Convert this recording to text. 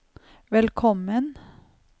velkommen